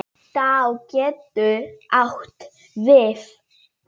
Tá getur átt við